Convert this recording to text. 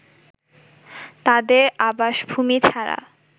তাদের আবাসভূমি ছাড়া